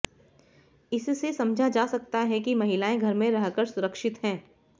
इससे समझा जा सकता है की महिलाएं घर में रहकर सुरक्षित हैं